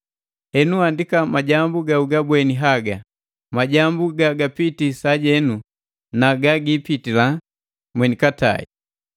Henu, andika majambu ga ugabweni haga, majambu ga gapitii sajenu na ga giipitila mwenikatai.